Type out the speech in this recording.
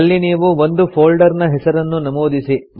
ಇಲ್ಲಿ ನೀವು ಒಂದು ಫೊಲ್ಡರ್ ನ ಹೆಸರನ್ನು ನಮೂದಿಸಿ